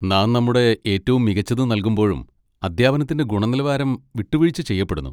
നാം നമ്മുടെ ഏറ്റവും മികച്ചത് നൽകുമ്പോഴും അധ്യാപനത്തിന്റെ ഗുണനിലവാരം വിട്ടുവീഴ്ച ചെയ്യപ്പെടുന്നു.